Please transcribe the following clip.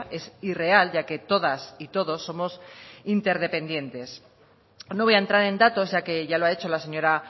es irreal ya que todas y todos somos interdependientes no voy a entrar en datos ya que ya lo ha hecho la señora